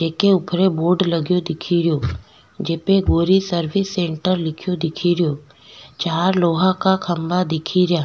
जेके ऊपर बोर्ड लगो दिखेरो जेपे गौरी सर्विस सेण्टर लिखेयो दिखेरो चार लोहा का खम्भा दिखेरा।